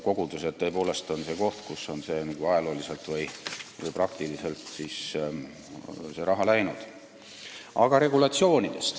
Kogudused on tõepoolest see koht, kuhu see raha on ajalooliselt või praktiliselt läinud.